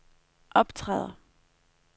optræder